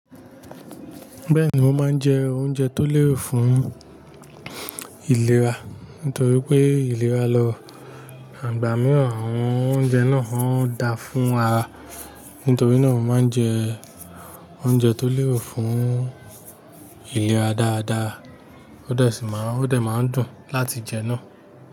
Bẹ́ẹ̀ni, mo máa ń jẹ oúnjẹ tó lérò fún ìlera nítorí pé ìlera lọ, àgbà míràn àwọn oúnjẹ náà ó dáa fún ara. Nítorí náà, mo máa ń jẹ oúnjẹ tó lérò fún ìlera dáadáa, ó dà sí máa ń dùn láti jẹ náà.